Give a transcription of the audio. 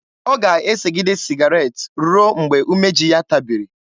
Ọ ga-esegide sịgaret ruo mgbe umeji ya tabiri.